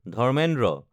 Dharmendra